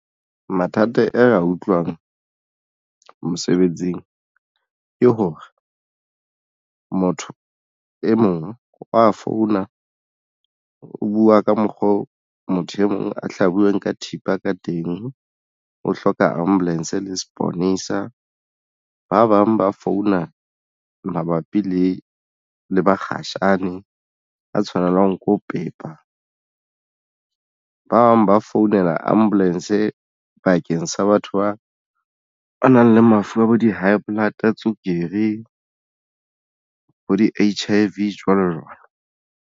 Mathata ere a utlwang mosebetsing ke hore motho e mong wa founa o buwa ka mokgwa oo motho e mong a hlabuweng ka thipa ka teng o hloka ambulance le seponesa ba bang ba founa mabapi le le bakgatjhane a tshwanelang ko pepa ba bang ba founela ambulance bakeng sa batho ba a nang lefu a bo di-high blood, tswekere ho di H_I_V jwalo jwalo.